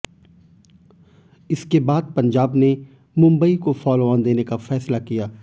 इसके बाद पंजाब ने मुंबई को फॉलोऑन देने का फैसला किया